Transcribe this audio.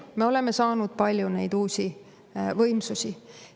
Me oleme saanud palju neid uusi võimsusi.